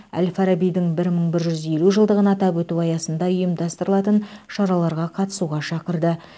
әл фарабидің бір мың бір жүз елу жылдығын атап өту аясында ұйымдастырылатын шараларға қатысуға шақырды